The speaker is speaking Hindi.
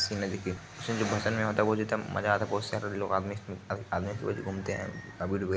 मजा आता है बहोत सारे लोग आदमी घूमते हैं। --